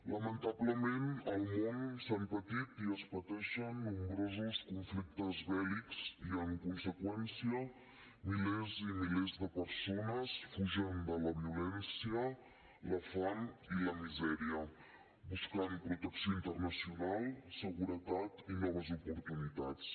lamentablement al món s’han patit i es pateixen nombrosos conflictes bèl·lics i en conseqüència milers i milers de persones fugen de la violència la fam i la misèria i busquen protecció internacional seguretat i noves oportunitats